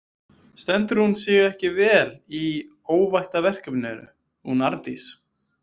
Stendur hún sig ekki vel í óvættaverkefninu, hún Arndís?